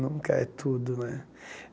Nunca é tudo, né?